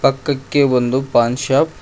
ಪಕ್ಕಕ್ಕೆ ಒಂದು ಪಾನ್ ಶಾಪ್ --